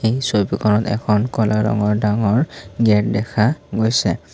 ছবিখনত এখন ডাঙৰ কলা ৰঙৰ গেট দেখা গৈছে